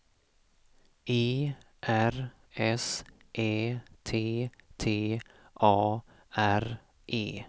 E R S Ä T T A R E